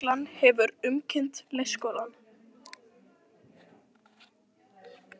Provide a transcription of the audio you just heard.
Lögreglan hefur umkringt leikskólann